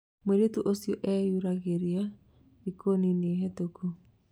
Mũirĩtu ũcio ĩyuragiraĩ thiko nini hĩtũkũ